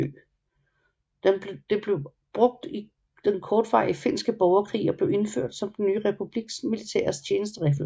Det blev brugt i den kortvarige Finske borgerkrig og blev indført som den nye republiks militære tjenesteriffel